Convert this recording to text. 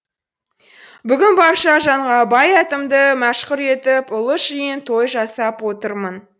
бүгін барша жанға бай атымды мәшһүр етіп ұлы жиын той жасап отырмын